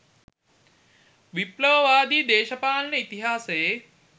විප්ලවවාදී දේශපාලන ඉතිහාසයේ